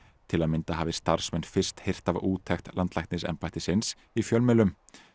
til að mynda hafi starfsmenn fyrst heyrt af úttekt landlæknisembættisins í fjölmiðlum